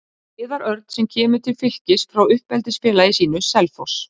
Viðar Örn sem kemur til Fylkis frá uppeldisfélagi sínu, Selfoss.